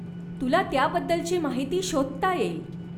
तुला त्याबद्दलची माहिती शोधता येईल.